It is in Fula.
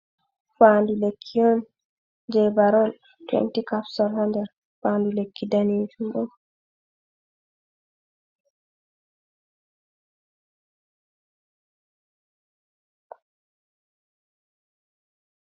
Faandu lekki on jey Barole 20 Capsules haa nder faandu lekki daneejum